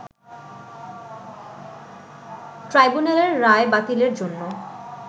ট্রাইব্যুনালের রায় বাতিলের জন্য